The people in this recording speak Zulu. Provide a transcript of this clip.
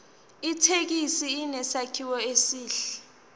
ithekisi inesakhiwo esihle